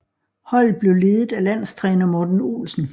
Holdet blev ledet af landstræner Morten Olsen